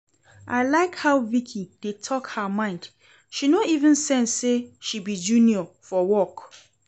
I like how Vicki dey talk her mind, she no even send say she be junior for work